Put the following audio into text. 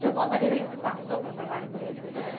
De alguma maneira, isso passou para o trabalho que vocês fizeram?